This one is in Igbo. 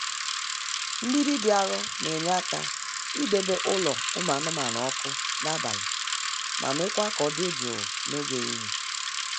Mgbidi dị arọ na-enye aka idebe ụlọ ụmụ anụmanụ ọkụ n'abalị ma mekwaa ka ọ dị jụụ n'oge ehihie.